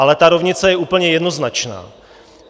Ale ta rovnice je úplně jednoznačná.